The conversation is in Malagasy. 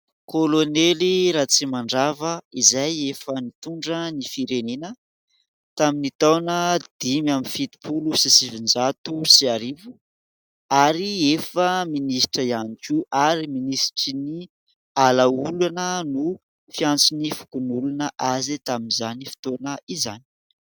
Kolonely Ratrimandrava izay efa nitondra ny firenena tamin'ny taona dimy amby fitopolo sy sivinjato sy arivo, ary efa minisitra ihany koa. Ary minisitry ny ala olana no fiantson'ny fokon'olona azy tamin'izany fotoana izany.